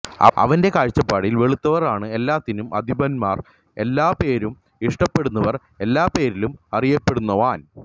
അവന്റെ കാഴ്ചപാടിൽ വെളുത്തവർ ആണ് എല്ലാത്തിനും അധിപന്മാർ എല്ലാപേരും ഇഷ്ടപെടുന്നവർ എല്ലപെരിലും അറിയപെടുന്നവാൻ